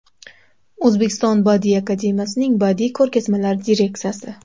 O‘zbekiston Badiiy akademiyasining badiiy ko‘rgazmalar direksiyasi.